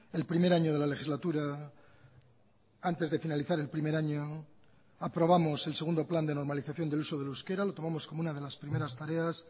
el primer año de la legislatura antes de finalizar el primer año aprobamos el segundo plan de normalización del uso del euskera lo tomamos como una de las primeras tareas